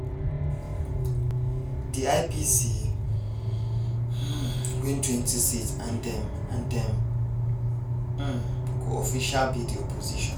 di ipc um wintwentyseats and dem and dem um go official be di opposition.